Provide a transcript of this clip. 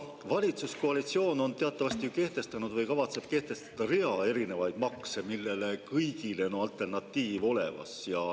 Valitsuskoalitsioon on teatavasti kehtestanud või kavatseb kehtestada rea erinevaid makse, millele kõigile on alternatiiv olemas.